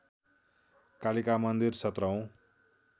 कालिका मन्दिर सत्रौँ